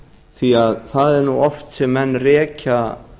því að það er nú oft sem menn rekja